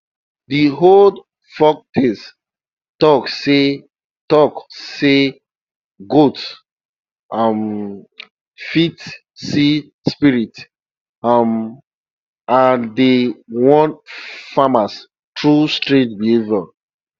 de old folktales talk say talk say goats um fit see spirits um and dey warn farmers through strange behavior